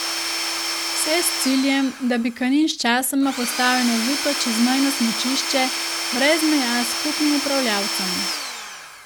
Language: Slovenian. Vse s ciljem, da bi Kanin sčasoma postal enovito čezmejno smučišče brez meja z skupnim upravljavcem.